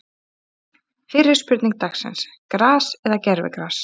Fyrri spurning dagsins: Gras eða gervigras?